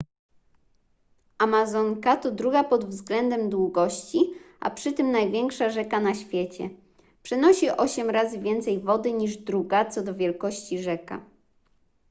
amazonka to druga pod względem długości a przy tym największa rzeka na świecie przenosi 8 razy więcej wody niż druga co do wielkości rzeka